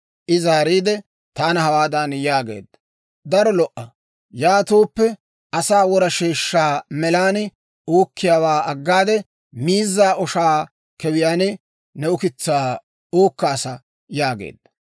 I zaariide, taana hawaadan yaageedda; «Daro lo"a, yaatooppe, asaa wora sheeshshaa melan uukkiyaawaa aggade, miizzaa oshaa kewiyaan ne ukitsaa uukkaasa» yaageedda.